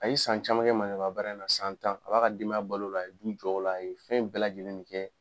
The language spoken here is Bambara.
A ye san caman kɛ maneburuya baara in na san tan a b'a ka denbaya bal'o la aye du jɔ o la a ye fɛn bɛɛ lajɛlen kɛ